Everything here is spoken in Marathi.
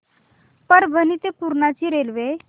परभणी ते पूर्णा ची रेल्वे